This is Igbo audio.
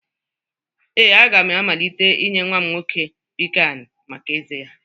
Ee, a ga m amalite inye nwa m nwoke piccan maka ezé ya